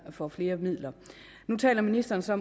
får flere midler nu taler ministeren så